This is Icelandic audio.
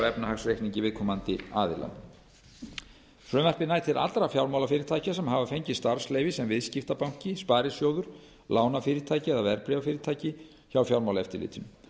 efnahagsreikningi viðkomandi aðila frumvarpið nær til allra fjármálafyrirtækja sem hafa fengið starfsleyfi sem viðskiptabanki sparisjóður lánafyrirtæki eða verðbréfafyrirtæki hjá fjármálaeftirlitinu